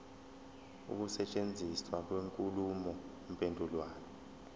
ukusetshenziswa kwenkulumo mpendulwano